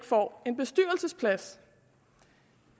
får en bestyrelsesplads